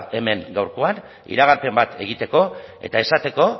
hemen gaurkoan iragarpen bat egiteko eta esateko